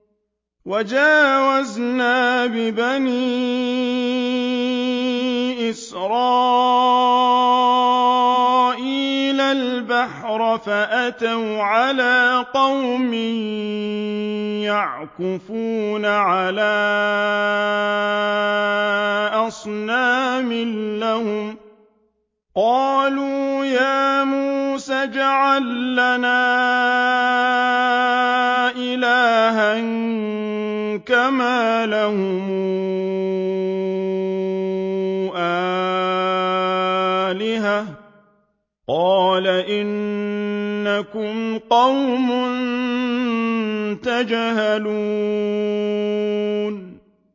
وَجَاوَزْنَا بِبَنِي إِسْرَائِيلَ الْبَحْرَ فَأَتَوْا عَلَىٰ قَوْمٍ يَعْكُفُونَ عَلَىٰ أَصْنَامٍ لَّهُمْ ۚ قَالُوا يَا مُوسَى اجْعَل لَّنَا إِلَٰهًا كَمَا لَهُمْ آلِهَةٌ ۚ قَالَ إِنَّكُمْ قَوْمٌ تَجْهَلُونَ